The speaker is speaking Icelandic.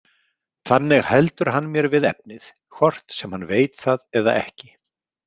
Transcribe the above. Þannig heldur hann mér við efnið, hvort sem hann veit það eða ekki.